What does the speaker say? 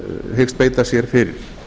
hyggst beita sér fyrir